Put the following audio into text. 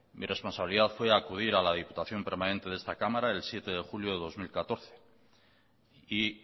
mi responsabilidad fue acudir a la diputación permanente de esta cámara el siete de julio de dos mil catorce y